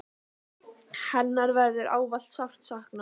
Hennar verður ávallt sárt saknað.